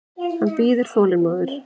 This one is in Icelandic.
Hann bíður þolinmóður.